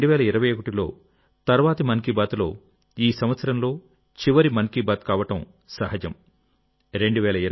ఈ 2021లో తర్వాతి మన్ కీ బాత్ ఈ సంవత్సరంలో చివరి మన్ కీ బాత్ కావడం సహజం